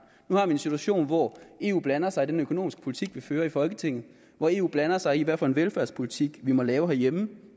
nu har vi en situation hvor eu blander sig i den økonomiske politik vi fører i folketinget hvor eu blander sig i hvilken velfærdspolitik vi må lave herhjemme